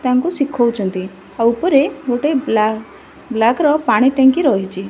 ତାଙ୍କୁ ଶିଖଉଛନ୍ତି ଆଉ ଉପରେ ଗୋଟେ ବ୍ଲା ବ୍ଲାକ ର ପାଣି ଟାଙ୍କି ରହିଛି।